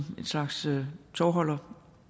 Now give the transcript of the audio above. en slags tovholder